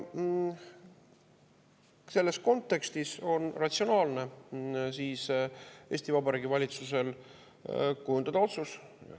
Selles kontekstis on ratsionaalne Eesti Vabariigi valitsusel kujundada otsus.